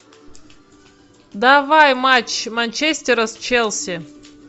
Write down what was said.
давай матч манчестера с челси